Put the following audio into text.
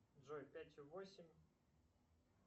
джой пятью восемь